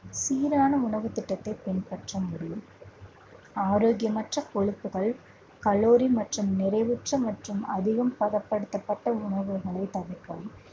சீரான உணவுத் திட்டத்தைப் பின்பற்ற முடியும் ஆரோக்கியமற்ற கொழுப்புகள், கலோரி மற்றும் நிறைவுற்ற மற்றும் அதிகம் பதப்படுத்தப்பட்ட உணவுகளை தவிர்க்கவும்